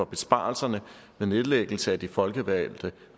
besparelserne ved nedlæggelsen af de folkevalgte